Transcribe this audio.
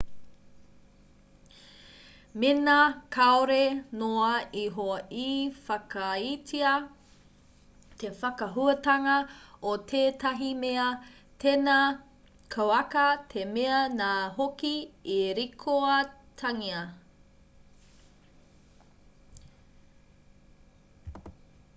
mēnā kāore noa iho i whakaaetia te whakahuatanga o tētahi mea tēnā kauaka te mea nā hoki e rikoatangia